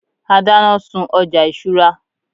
a dana sun ọja isura